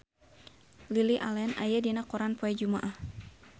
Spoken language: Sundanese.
Lily Allen aya dina koran poe Jumaah